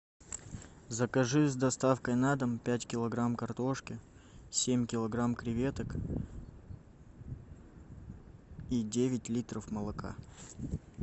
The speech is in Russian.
закажи с доставкой на дом пять килограмм картошки семь килограмм креветок и девять литров молока